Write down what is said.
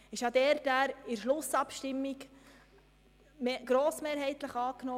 In der Schlussabstimmung wurde die Vorlage grossmehrheitlich angenommen.